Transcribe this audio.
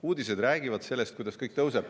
Uudised räägivad sellest, kuidas kõik tõuseb.